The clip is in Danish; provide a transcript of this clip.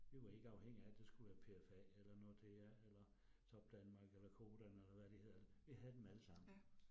Vi var ikke afhængige af det skulle være P F A eller Nordea eller Topdanmark eller Codan eller hvad de hedder. Vi havde dem allesammen